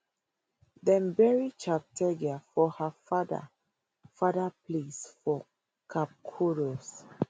dem bury cheptegei for her father father place for kapkoros